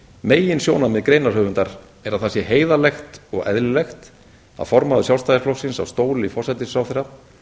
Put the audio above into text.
meginsjónarmið greinarhöfundar er að það sé heiðarlegt og eðlilegt að formaður sjálfstæðisflokksins á stóli forsætisráðherra